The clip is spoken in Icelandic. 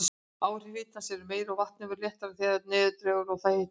Áhrif hitans eru meiri, og vatnið verður léttara þegar neðar dregur og það hitnar.